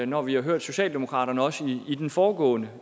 når vi har hørt socialdemokratiet også i den foregående